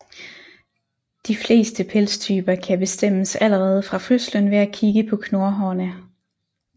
De fleste pelstyper kan bestemmes allerede fra fødslen ved at kigge på knurhårene